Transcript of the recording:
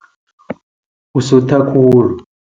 Usutha khula.